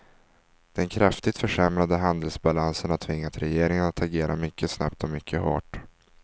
Den kraftigt försämrade handelsbalansen har tvingat regeringen att agera mycket snabbt och mycket hårt.